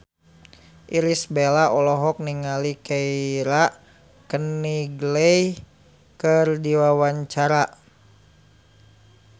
Irish Bella olohok ningali Keira Knightley keur diwawancara